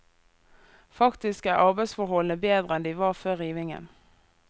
Faktisk er arbeidsforholdene bedre enn de var før rivingen.